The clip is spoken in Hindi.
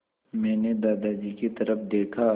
मैंने दादाजी की तरफ़ देखा